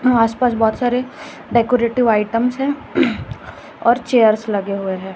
आसपास बहुत सारे डेकोरेटिव आइटम्स है और चेयर्स लगे हुए है।